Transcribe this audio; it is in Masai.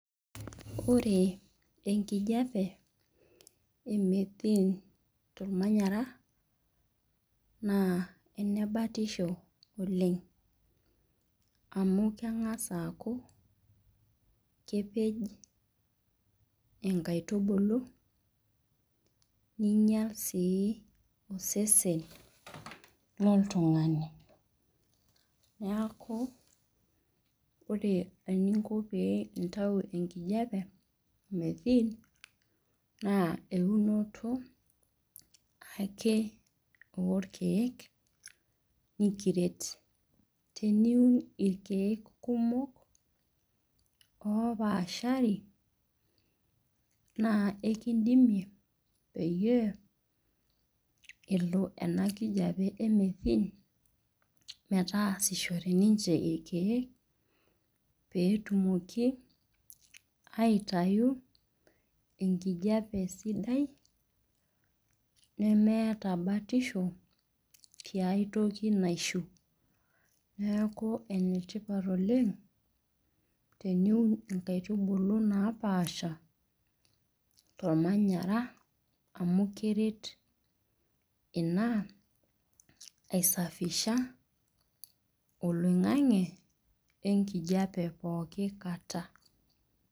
Ore enkijape, e methene tormanyara, naa enebatisho oleng. Amu keng'as aaku kepej inkaitubulu, ninyal si osesen loltung'ani. Niaku, ore eninko pee itau enkijape, methene, naa eunoto ake orkeek likiret. Teniun irkeek kumok opaashari, naa ekidimie peyie, elo ena kijape e methene metaasishore ninche irkeek, petumoki aitayu enkijape sidai, nemeeta batisho, tiai toki naishiu. Neeku enetipat oleng, teniun inkaitubulu napaasha, tormanyara, amu keret ina ai safisha oloing'ang'e, wenkijape pooki kata.